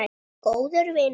Góður vinur.